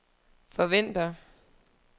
forventer